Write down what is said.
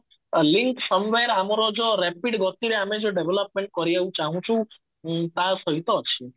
link somewhere ଆମର ଯୋଉ rapid ଗତିରେ ଆମେ ଯୋଉ development କରିବାକୁ ଚାହୁଁଛୁ ଉଁ ତା ସହିତ ଅଛି